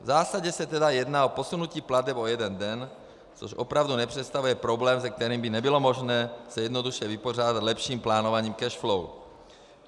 V zásadě se tedy jedná o posunutí plateb o jeden den, což opravdu nepředstavuje problém, se kterým by nebylo možné se jednoduše vypořádat lepším plánováním cash flow.